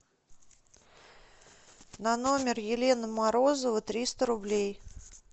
на номер елена морозова триста рублей